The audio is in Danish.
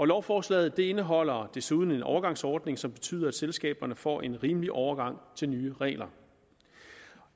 lovforslaget indeholder desuden en overgangsordning som betyder at selskaberne får en rimelig overgang til nye regler